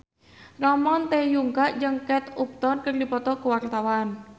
Ramon T. Yungka jeung Kate Upton keur dipoto ku wartawan